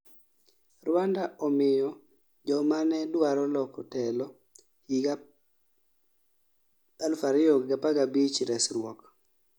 Rwanda omiyo jomane dwaro loko telo higa 2015 resruok